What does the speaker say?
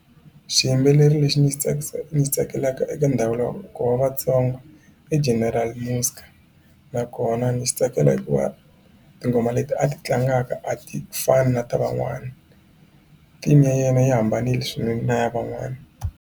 Xiyimbeleri lexi ni xi ni xi tsakelaka eka ndhavuko wa Vatsonga i General Muzka nakona ndzi xi tsakela hikuva tinghoma leti a ti tlangaka a ti fani na ta van'wana theme ya yena yi hambanile swinene na ya van'wana.